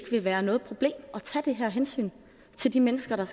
vil være noget problem at tage det her hensyn til de mennesker der